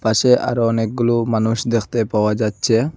পাশে আরো অনেকগুলু মানুষ দেখতে পাওয়া যাচ্চে।